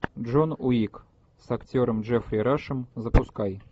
джон уик с актером джеффри рашем запускай